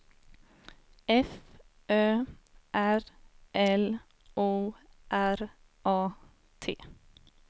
F Ö R L O R A T